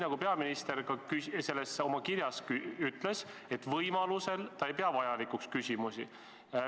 Peaminister ütles oma kirjas, et võimaluse korral ta ei pea küsimusi vajalikuks.